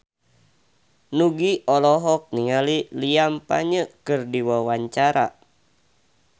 Nugie olohok ningali Liam Payne keur diwawancara